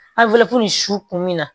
su kun mi na